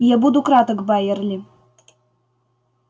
я буду краток байерли